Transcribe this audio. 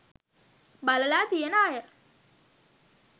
බලලා තියෙන අය